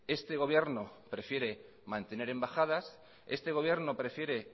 este gobierno prefiere mantener embajadas este gobierno prefiere